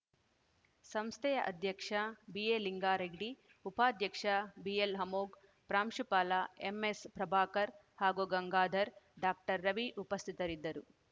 ಸಂಸ್ಥೆಯ ಅಧ್ಯಕ್ಷ ಬಿಎ ಲಿಂಗಾರೆಡ್ಡಿ ಉಪಾಧ್ಯಕ್ಷ ಬಿಎಲ್‌ಅಮೋಘ್‌ ಪ್ರಾಂಶುಪಾಲ ಎಂಎಸ್‌ ಪ್ರಭಾಕರ್‌ ಹಾಗೂ ಗಂಗಾಧರ್‌ ಡಾಕ್ಟರ್ ರವಿ ಉಪಸ್ಥಿತರಿದ್ದರು